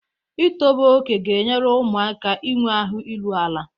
Ịtọbe oke ga-enyere ụmụaka aka inwe ahụ iru ala.